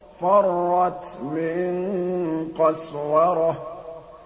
فَرَّتْ مِن قَسْوَرَةٍ